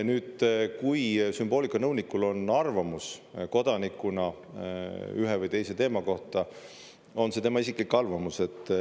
Nüüd, kui sümboolikanõunikul on arvamus kodanikuna ühe või teise teema kohta, on see tema isiklik arvamus.